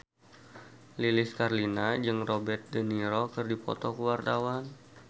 Lilis Karlina jeung Robert de Niro keur dipoto ku wartawan